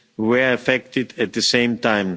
were affected at the same time.